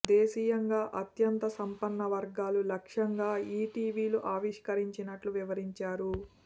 దేశీయంగా అత్యంత సంపన్న వర్గాలు లక్ష్యంగా ఈ టీవీలు ఆవిష్కరించినట్లు వివరించారు